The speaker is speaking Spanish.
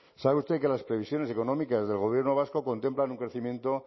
sabe usted que las previsiones económicas del gobierno vasco contemplan un crecimiento